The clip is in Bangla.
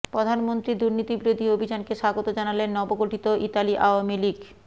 প্রধানমন্ত্রীর দুর্নীতিবিরোধী অভিযানকে স্বাগত জানালেন নবগঠিত ইতালি আওয়ামী লীগ